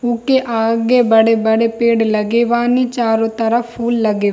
ऊके आगे बड़े-बड़े पेड़ लगे बानी चारो तरफ फूल लगे --